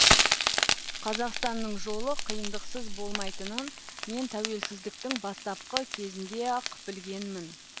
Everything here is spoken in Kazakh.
қазақстанның жолы қиындықсыз болмайтынын мен тәуелсіздіктің бастапқы кезінде ақ білгенмін